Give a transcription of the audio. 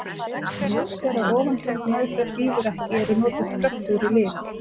Ef ljóst er að ofangreind meðferð hrífur ekki eru notuð kröftugri lyf.